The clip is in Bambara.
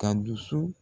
Ka dusu